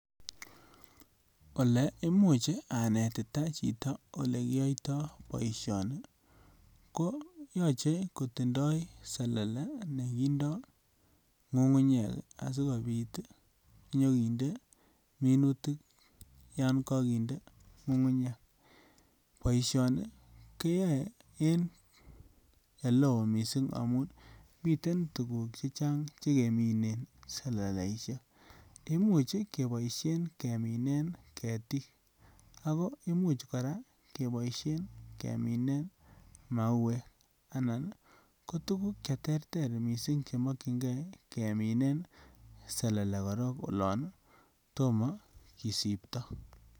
Ole imuch anetita chito ole kiyoito boisioni ko yoche kotindoi selele nekindo ngungunyek asikopit ii nyokinde minutik yon kokinde ngungunyek boisioni keyoe en ele oo missing amun miten tuguk chechang che keminen seleleishek imuch keboishen keminen ketik ako imuch koraa keboishen keminen mawek anan ko tuguk che terter missing che mokyingee keminen selele korong olon tomo kisipto.